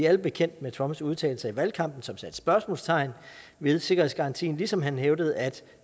alle bekendt med trumps udtalelser i valgkampen som satte spørgsmålstegn ved sikkerhedsgarantien ligesom han hævdede at